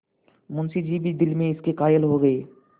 मुंशी जी भी दिल में इसके कायल हो गये